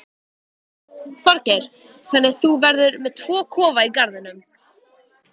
Þorgeir: Þannig að þú verður með tvo kofa í garðinum?